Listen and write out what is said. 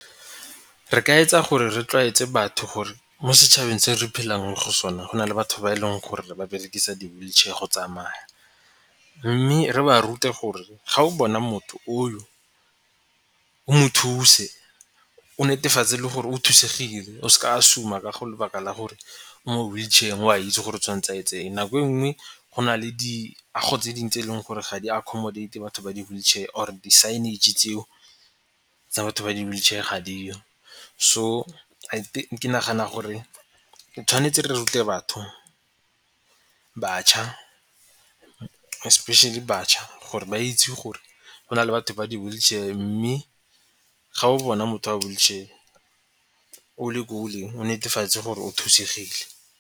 Re ka etsa gore re tlwaetse batho gore mo setšhabeng se re phelang mo go sone go na le batho ba e leng gore ba berekisa di-wheelchair go tsamaya, mme re ba rute gore ga o bona motho oo, o mo thuse o netefatse gore o thusegileng o seke wa assume-a ka go lebaka la gore o wheel chair o a itse gore o tshwanetse a etse eng. Nako e nngwe go na le diago tse dinge tse e leng gore ga di accommodate batho ba di-wheelchair or-e di-signage tseo tsa batho ba di-wheelchair ga diyo. So I think, ke nagana gore tshwanetse re rute batho, bašwa, especially bašwa gore ba itse gore go na le batho ba di-wheelchair mme ga o bona motho wa wheelchair o le ko o leng o netefatse gore o thusegile.